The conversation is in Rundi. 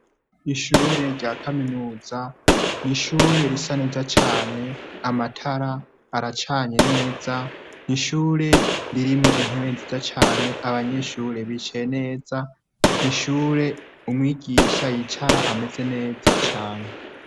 Ishure rya Kaminuza ni ishure Risa neza cane amatara aracanye neza ishure ririmwo intebe nziza cane abanyeshure bicaye neza ni ishure umwigisha yicara hameze neza cane.